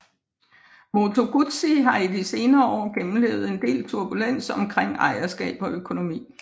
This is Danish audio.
Moto Guzzi har de senere år gennemlevet en del turbulens omkring ejerskab og økonomi